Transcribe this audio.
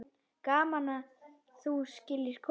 Gaman að þú skyldir koma.